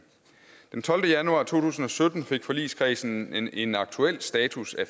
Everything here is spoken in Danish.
den tolvte januar to tusind og sytten fik forligskredsen en aktuel status af